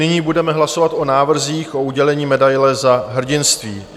Nyní budeme hlasovat o návrzích k udělení medaile Za hrdinství.